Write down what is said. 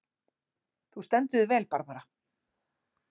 Þú stendur þig vel, Barbara!